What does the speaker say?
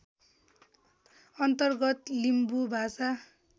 अन्तर्गत लिम्बू भाषा